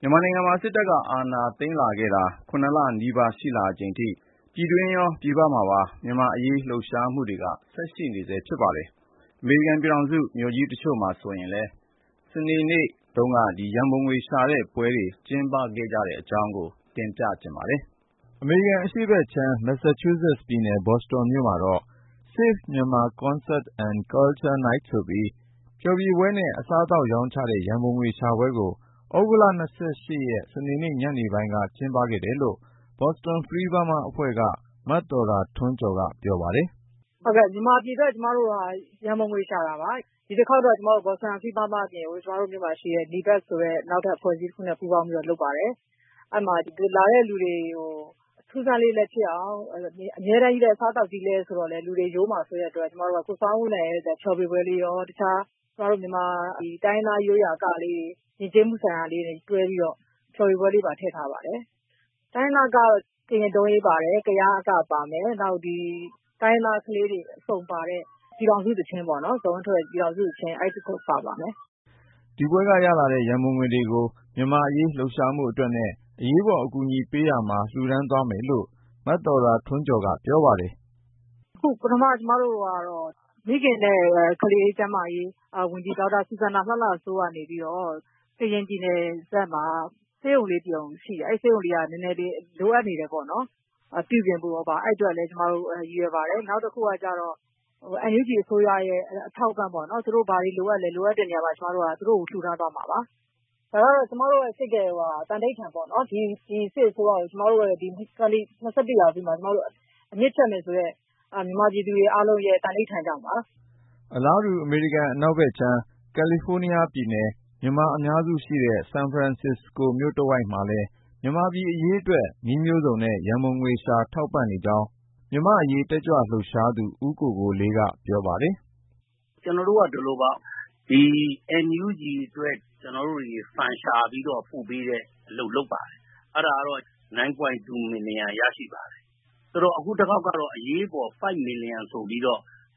မြန်မာနိုင်ငံမှာ စစ်တပ်က အာဏာသိမ်းခဲ့တာ ၇ လနီးပါး ရှိလာချိန်ထိ ပြည်တွင်းရော၊ ပြည်ပမှာပါ မြန်မာ့အရေး လှုပ်ရှားမှုတွေ ဆက်ရှိနေဆဲ ဖြစ်ပါတယ်။ အမေရိကန်ပြည်ထောင်စု မြို့ကြီးတချို့မှာဆိုရင်လည်း စနေနေ့က ရန်ပုံငွေရှာတဲ့ပွဲတွေ ကျင်းပခဲ့တဲ့ အကြောင်း ကိုဉာဏ်ဝင်းအောင်က စုစည်းတင်ပြထားပါတယ်။ အမေရိကန် အရှေ့ဖက်ခြမ်း မက်ဆာချူးဆက်ပြည်နယ် ဘော်စတွန်မြို့မှာတော့ Save Myanmar Concert and Culture Night ဆိုပြီး ဖျော်ဖြေပွဲနဲ့ အစားသောက်ရောင်းချတဲ့ ရန်ပုံငွေရှာပွဲကို သြဂုတ် စနေနေ့ ညနေပိုင်းက ကျင်းပခဲ့တယ်လို့ Boston Free Burma အဖွဲ့က မသော်တာထွန်းကျော်က ပြောပါတယ်။ " မြန်မာပြည်အတွက် ကျမတို့ ရန်ပုံငွေရှာတာပါ။ ဒီတခေါက်ကတော့ ကျမတို့ရဲ့ Boston Free Burma အဖွဲ့ အပြင်ကို ဒီမြို့က ဒေသခံအဖွဲ့အစည်း အဖွဲ့တခုနဲ့ပူးပေါင်းပြီးတော့ လုပ်ပါတယ်။ ဒီပွဲကိုလာတဲ့လူတွေကို အစားသောက် ရောင်းချရုံတင်မကပဲ အထူးအဆန်းလေးလည်း ဖြစ်အောင်လို့ အဆိုတော် ဆောင်းဦးလှိုင်ရဲ့ ဖျော်ဖြေပွဲလည်းရော ၊ အခြား မြန်မာအက တိုင်းရင်းသားအကတွေပါ တွဲပြီးတော့ ယဉ်ကျေးမှု ဖျော်ဖြေပွဲလေးပါ ထည့်ထားပါတယ်။ ကရင်ဒုံးယိမ်း၊ ကယားအကတွေလည်း ပါပါတယ်။ ဇော်ဝင်းထွဋ်ရဲ့ ပြည်ထောင်စုသီချင်းနဲ့ တိုင်းရင်းသားကလေးတွေက ကပါတယ်။ " ဒီပွဲကနေ ရလာတဲ့ ရန်ပုံငွေတွေကို မြန်မာ့အရေး လှုပ်ရှားမှုအတွက်နဲ့ အရေးပေါ် အကူအညီပေးရေးမှာ လှူဒါန်းသွားမယ်လို့ မသော်တာထွန်းကျော်က ပြောပါတယ်။ " ပထမအနေနဲ့ မိခင်နဲ့ကလေးကျန်းမာရေးဝန်ကြီး ဒေါ်စူဇမ်နာလှလှစိုးက နေပြီးတော့ ကရင်ပြည်နယ်ဖက်မှာ ဆေးရုံလေးတရုံ ရှိတယ်။ အဲဒီဆေးရုံက လိုအပ်ချက်တွေ ရှိနေတယ်ပေါ့နော်။ ပြုပြင်ဖို့တို့ဘာတို့ အဲဒီအတွက် ကျမတို့ ရည်ရွယ်ပါတယ်။ နောက်တခုက NUG အစိုးရကို ထောက်ပံ့ဖို့ပေါ့၊ သူတို့ ဘာတွေလိုအပ်သလဲပေါ့ လိုအပ်တဲ့နေရာကို ကျမတို့က လှူဒါန်းသွားမှာပါ။ ကျမတို့ စိတ်ထဲမှာ သံဓိဌာန်ချထားတာက ဒီစစ်အစိုးရကို ၂၀၂၁ ထဲမှာ အမြစ်ဖြတ်မယ်ဆိုတဲ့ မြန်မာပြည်သူတွေရဲ့ သံဓိဌာန်ကြောင့်ပါ။ " အလားတူ အမေရိကန် အနောက်ဖက်ခြမ်း ကယ်လီဖိုးနီးယားပြည်နယ် မြန်မာအများစုရှိတဲ့ ဆန်ဖရန်စစ္စကိုမြို့တဝိုက်မှာလည်း မြန်မာပြည် အရေးအတွက် နည်းမျိုးစုံနဲ့ ရန်ပုံငွေရှာ ထောက်ပံ့နေကြောင်း မြန်မာ့အရေးတက်ကြွလှုပ်ရှားသူ ဦးကိုကိုလေးက ပြောပါတယ်။ " ကျနော်တို့က ဒီလိုပါ NUG အတွက် ရန်ပုံငွေရှာပြီး ပို့ပေးတဲ့အလုပ် လုပ်ပါတယ်။ အရင်က ဒေါ်လာ သန်း ရပါတယ်။ အခုတခေါက်ကတော့ အရေးပေါ် ဒေါ်လာ သန်း လိုအပ်လာတဲ့အ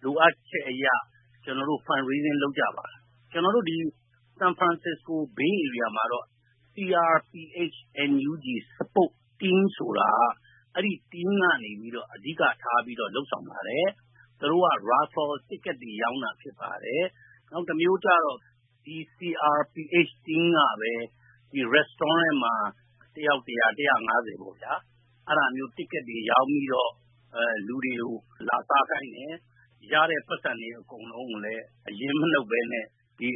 တွက် ကျနော်တို့ ရန်ပုံငွေ ရှာကြပါတယ်။ ကျနော်တို့ ဒီ ဆန်ဖရန်စစ္စကို မှာတော့ CRPH & NUG Support Team ထောက်ပံ့ရေးဆိုပြီး အဲဒီအဖွဲ့ကနေ အဓိကထား လုပ်ဆောင်နေပါတယ်။ သူတို့က Raffle Tickets ကံစမ်းမဲ လက်မှတ်တွေ ရောင်းတာဖြစ်ပါတယ်။ နောက်တမျိုးကျတော့ အဲဒီ CRPH Support Team ကပဲ စားသောက်ဆိုင်တွေမှာ တယောက် ဒေါ်လာ ပေါ့၊ အဲဒါမျိုး လက်မှတ်တွေ ရောင်းပြီးတော့ လူတွေကို လာစားခိုင်းတယ်။ ရတဲ့ပိုက်ဆံတွေ အကုန်လုံးကို အရင်းမနှုတ်ပဲနဲ့ ဒီ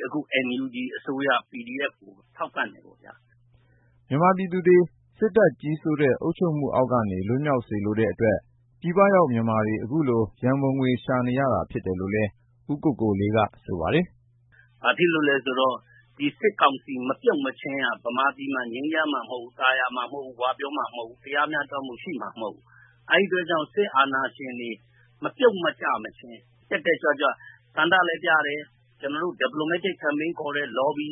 NUG အစိုးရ PDF ကိုထောက်ပံ့တယ်ပေါ့ဗျာ။ " မြန်မာပြည်သူတွေ စစ်တပ်ကြီးစိုးတဲ့ အုပ်ချုပ်မှုအောက်ကနေ လွတ်မြောက်စေလိုတဲ့အတွက် ပြည်ပရောက် မြန်မာတွေ အခုလို ရန်ပုံငွေရှာနေရတာ ဖြစ်တယ်လို့လည်း ဦးကိုလေးက ဆိုပါတယ်။ " ဘာဖြစ်လို့လည်းဆိုတော့ ဒီ စစ်ကောင်စီ မပြုတ်မချင်းက မြန်မာပြည် ငြိမ်းချမ်း သာယာ ဝပြောမှာ မဟုတ်ဘူး၊ တရားမျှတမှု ရှိမှာမဟုတ်ဘူးလေ။ အဲဒါကြောင့် စစ်အာဏာရှင်တွေ မပြုတ်ကျမချင်း တက်တက်ကြွကြွနဲ့ ဆန္ဒလည်းပြတယ်၊ သံတမန်ရေး လှုပ်ရှားမှု Diplomatic Campaign ခေါ်တယ်။ လော်ဘီ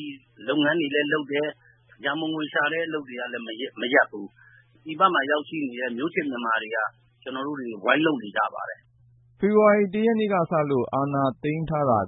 လုပ်ငန်းတွေလည်း လုပ်တယ်။ ရန်ပုံငွေရှာတဲ့ အလုပ်တွေကိုလည်း မရပ်ဘူး။ ပြည်ပကို ရောက်ရှိနေတဲ့ ကျနော်တို့ မျိုးချစ်မြန်မာတွေ ဝိုင်းလုပ်နေကြပါတယ်။ " ဖေဖေါ်ဝါရီ ရက်နေ့ကစလို့ အာဏာသိမ်းထားတာ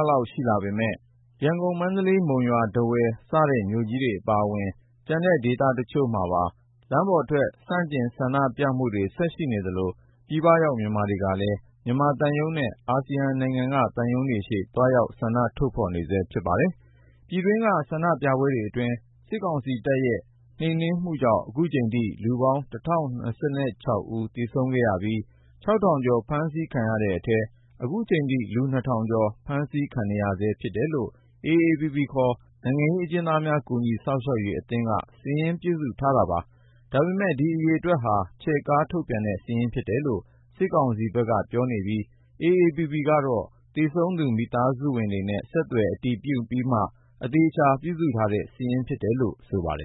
လလောက် ရှိလာပေမယ့် ရန်ကုန်၊ မန္တလေး၊ မုံရွာ၊ ထားဝယ် စတဲ့မြို့ကြီးတွေအပါအဝင် ကျန်တဲ့ဒေသတချို့မှာပါ လမ်းပေါ်ထွက် ဆန့်ကျင်ဆန္ဒပြမှုတွေ ရှိနေသလို၊ ပြည်ပရောက် မြန်မာတွေကလည်း မြန်မာသံရုံးနဲ့ အာဆီယံနိုင်ငံက သံရုံးတွေရှေ့ သွားရောက်ဆန္ဒထုတ်ဖေါ်နေဆဲ ဖြစ်ပါတယ်။ ပြည်တွင်းက ဆန္ဒပြပွဲတွေအတွင်း စစ်ကောင်စီတပ်ရဲ့ နှိမ်နင်းမှုကြောင့် ခုချိန်ထိ လူပေါင်း ဦး သေဆုံးခဲ့ပြီး ၊ ထောင်ကျော် ဖမ်းဆီးခံခဲ့ရတဲ့အထဲ ခုချိန်ထိ လူ ထောင်ကျော် ဖမ်းဆီးခံနေရဆဲ ဖြစ်တယ်လို့ AAPP ခေါ် နိုင်ငံရေးအကျဉ်းသားများ ကူညီစောင့်ရှောက်ရေးအသင်းက စာရင်းပြုစုထားတာပါ။ ဒါပေမဲ့ အဲဒီအရေအတွက်ဟာ ချဲ့ကား ထုတ်ပြန်တဲ့ စာရင်းဖြစ်တယ်လို့ စစ်ကောင်စီက ပြောနေပြီး AAPP ကတော့ သေဆုံးသူ မိသားစုဝင်တွေနဲ့ ဆက်သွယ် အတည်ပြုပြီးမှ အသေအချာ ပြုစုထားတဲ့စာရင်းဖြစ်တယ်လို့ ဆိုပါတယ်